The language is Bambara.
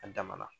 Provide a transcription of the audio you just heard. A damana